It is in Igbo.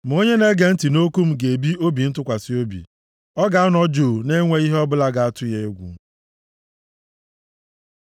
Ma onye na-ege ntị nʼokwu m ga-ebi obi ntụkwasị obi. Ọ ga-anọ jụụ na-enweghị ihe ọbụla ga-atụ ya egwu.”